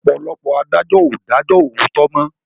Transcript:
Ọ̀pọ̀lọpọ̀ adájọ́ ò dájó òòtó mọ́.